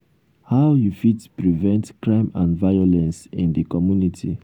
how you fit prevent crime and violence in di community?